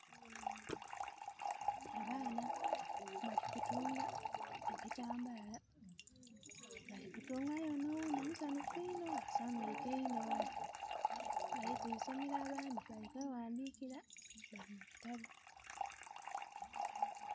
Abaana bali kutunga ebitambaala. Bali kutunga, aye onho oghundhi musanhufu inho asanhwiike inho. Bali ku isomero abandhi bali kweghandikira